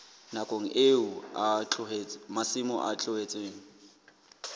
nakong eo masimo a tlohetsweng